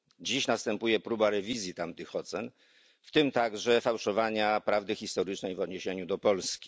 Dziś następuje próba rewizji tamtych ocen, w tym także fałszowania prawdy historycznej w odniesieniu do Polski.